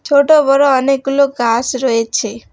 ছোট বড়ো অনেকগুলো গাস রয়েছে।